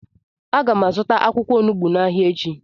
Agam azuta akwukwo onugbu n'Ahia echi.